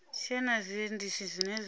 tshee na zwiendisi zwine zwa